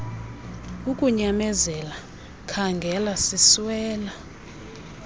ukunyamezela khaangela siswela